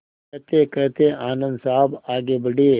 कहतेकहते आनन्द साहब आगे बढ़े